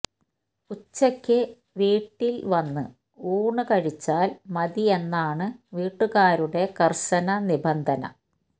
ഉച്ചക്ക് വീട്ടില് വന്നു ഊണ് കഴിച്ചാല് മതി എന്നാണ് വീട്ടുകാരുടെ കര്ശന നിബന്ധന